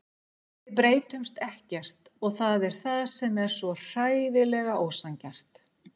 Við breytumst ekkert og það er það sem er svo hræðilega ósanngjarnt.